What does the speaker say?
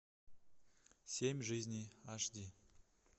семь жизней аш ди